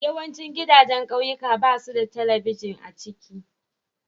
Yawancin gidajen kauyuka babsu da telibijin a ciki.